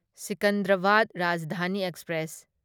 Secunderabad Rajdhani express